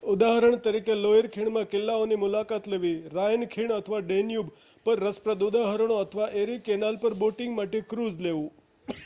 ઉદાહરણ તરીકે લોઈર ખીણમાં કિલ્લાઓની મુલાકાત લેવી રાઈન ખીણ અથવા ડેન્યુબ પર રસપ્રદ ઉદાહરણો અથવા એરિ કેનાલ પર બોટિંગ માટે ક્રૂઝ લેવું